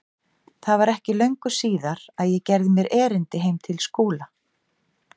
Það var ekki löngu síðar að ég gerði mér erindi heim til Skúla.